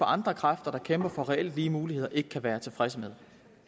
andre kræfter der kæmper for reelt lige muligheder ikke kan være tilfredse med